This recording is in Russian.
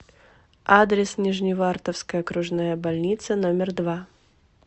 адрес нижневартовская окружная больница номер два